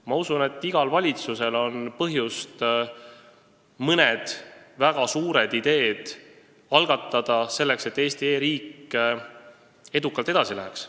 Ma usun, et igal valitsusel on põhjust algatada mõned väga suured ideed, selleks et Eesti e-riik edukalt edasi läheks.